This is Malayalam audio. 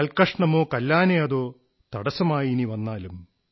കൽക്കഷണമോ കല്ലാനയതോ തടസ്സമായിനി വന്നാലും